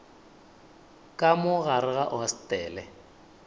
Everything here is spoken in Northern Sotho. ka mo gare ga hostele